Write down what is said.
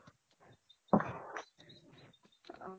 অ